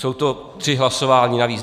Jsou to tři hlasování navíc.